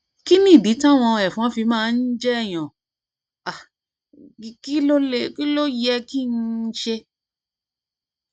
kí nìdí táwọn ẹfọn fi máa ń jẹ èèyàn um kí um ló yẹ kí um n ṣe